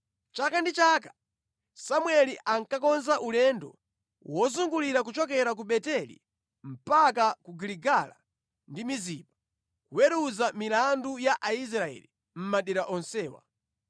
Chaka ndi chaka Samueli ankakonza ulendo wozungulira kuchokera ku Beteli mpaka ku Giligala ndi Mizipa, kuweruza milandu ya Aisraeli mʼmadera onsewa.